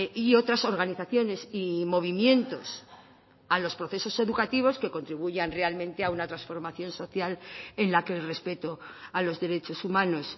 y otras organizaciones y movimientos a los procesos educativos que contribuyan realmente a una transformación social en la que el respeto a los derechos humanos